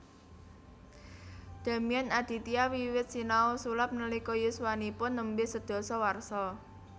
Damian Aditya wiwit sinau sulap nalika yuswanipun nembe sedasa warsa